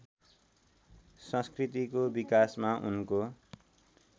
संस्कृतिको विकासमा उनको